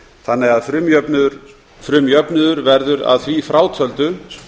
þannig að frumjöfnuður verður að því frátöldu